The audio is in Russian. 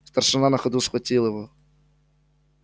старшина на ходу схватил его